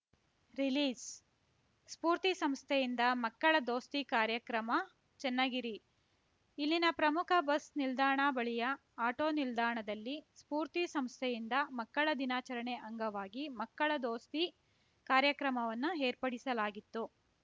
ರಿಲೀಸ್‌ಸ್ಫೂರ್ತಿ ಸಂಸ್ಥೆಯಿಂದ ಮಕ್ಕಳ ದೋಸ್ತಿ ಕಾರ್ಯಕ್ರಮ ಚನ್ನಗಿರಿ ಇಲ್ಲಿನ ಪ್ರಮುಖ ಬಸ್‌ ನಿಲ್ದಾಣ ಬಳಿಯ ಆಟೋ ನಿಲ್ದಾಣದಲ್ಲಿ ಸ್ಫೂರ್ತಿ ಸಂಸ್ಥೆಯಿಂದ ಮಕ್ಕಳ ದಿನಾಚರಣೆ ಅಂಗವಾಗಿ ಮಕ್ಕಳ ದೋಸ್ತಿ ಕಾರ್ಯಕ್ರಮವನ್ನು ಏರ್ಪಡಿಸಲಾಗಿತ್ತು